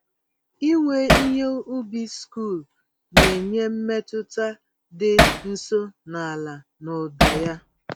Iwe ihe ubi sikụl na-enye mmetụta dị nso na ala na ụda ya.